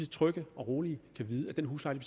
trygge og rolige og vide at den husleje